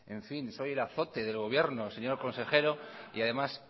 en fin soy el azote del gobierno señor consejero y además